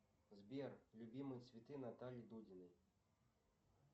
сбер любимые цветы натальи дудиной